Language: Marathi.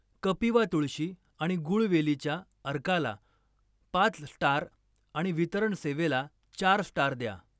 कपिवा तुळशी आणि गुळवेलीच्या अर्काला पाच स्टार आणि वितरण सेवेला चार स्टार द्या.